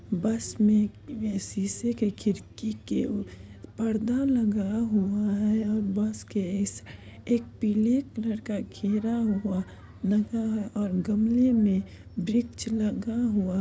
बस मे सीसे के खिड़की के पर्दा लगा हुआ है और बस के इस एक पीले कलर का घेरा हुआ लगा है और गमले मे वृक्ष लगा हुआ --